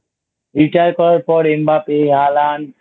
Retire করার পর M Mbappe Haland